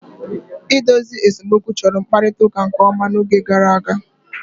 Idozi nsemokwu chọrọ mkparịta ụka nke ọma n'oge gara aga.